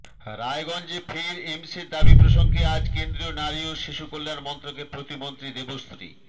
রায়গঞ্জে ফের এমসের দাবি প্রসঙ্গে আজ কেন্দ্রীয় নারী ও শিশুকল্যাণ মন্ত্রকের প্রতিমন্ত্রী দেবশ্রী